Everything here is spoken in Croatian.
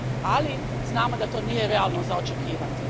Ali, znamo da to nije realno za očekivati.